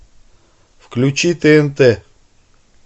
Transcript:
включи тнт